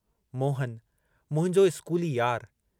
मोहन मुंहिंजो स्कूली यारु।